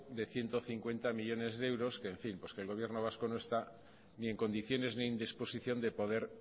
de ciento cincuenta millónes de euros que el gobierno vasco no está ni en condiciones ni en disposición de poder